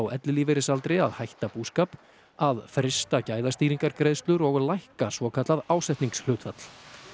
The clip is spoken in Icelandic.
ellilífeyrisaldri að hætta búskap að frysta gæðastýringargreiðslur og að lækka svokallað ásetningshlutfall